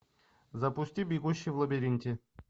запусти бегущий в лабиринте